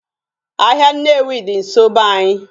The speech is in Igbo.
Ahịa Nnewi dị nsọ be anyị